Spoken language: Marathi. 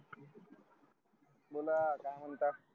बोला काय म्हणता